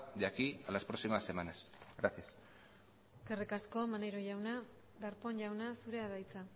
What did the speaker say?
de aquí a las próximas semanas gracias eskerrik asko maneiro jauna darpón jauna zurea da hitza